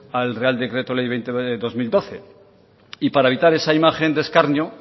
al real decreto ley veinte barra dos mil doce y para evitar esa imagen de escarnio